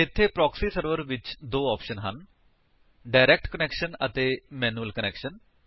ਇੱਥੇ proxy server ਵਿੱਚ ਦੋ ਆਪਸ਼ਨ ਹਨ ਡਾਇਰੇਕਟ ਕੁਨੈਕਸ਼ਨ ਅਤੇ ਮੈਨਿਊਅਲ ਕੁਨੈਕਸ਼ਨ